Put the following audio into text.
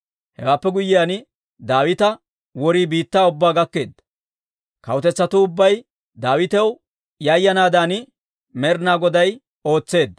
Hewaappe guyyiyaan, Daawita worii biittaa ubbaa gakkeedda. Kawutetsatuu ubbay Daawitaw yayanaadan Med'inaa Goday ootseedda.